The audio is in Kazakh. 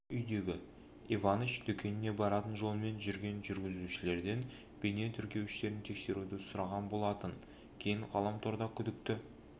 үйдегі иваныч дүкеніне баратын жолмен жүрген жүргізушілерден бейне тіркеуіштерін тексеруді сұраған болатын кейін ғаламторда күдікті